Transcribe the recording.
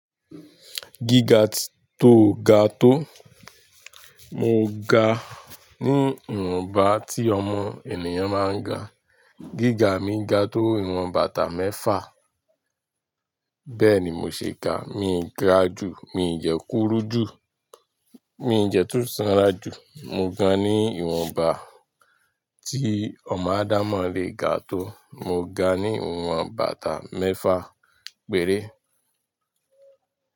Gíga tó ga tó, mo ga ní ìwọ̀nba tí ọmọ ènìyàn máa ń ga. Gíga mi ga tó ìwọ̀n batà méfà. Bẹ́ẹ̀ni mo ṣe ga, mi n ga jù, mi n dẹ́ kúrụ jù, mi n dẹ́ tun sanra jù. Mo ga ní ìwọ̀nba tí ọmọ ádámọ̀ lè ga tó. Mo ga ní ìwọ̀n batà mẹ́fà. Péré.